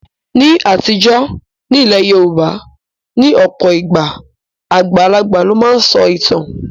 Ní àtijọ́, ní ilẹ̀ Yorùbá, ní ọ̀pọ̀ ìgbà, àgbàlagbà ló máa ń sọ ìtàn